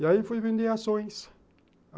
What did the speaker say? E aí fui vender ações.